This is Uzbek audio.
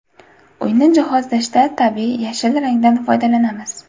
Uyni jihozlashda tabiiy yashil rangdan foydalanamiz.